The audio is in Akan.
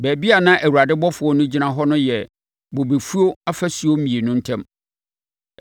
Baabi a na Awurade ɔbɔfoɔ no gyina hɔ no yɛ bobefuo afasuo mmienu ntam.